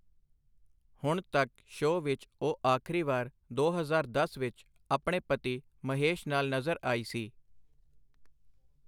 ਹੁਣ ਤੱਕ ਸ਼ੋਅ ਵਿੱਚ ਉਹ ਆਖਰੀਵਾਰ ਦੋ ਹਜ਼ਾਰ ਦਸ ਵਿੱਚ ਆਪਣੇ ਪਤੀ ਮਹੇਸ਼ ਨਾਲ ਨਜ਼ਰ ਆਈ ਸੀ।